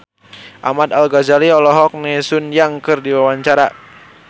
Ahmad Al-Ghazali olohok ningali Sun Yang keur diwawancara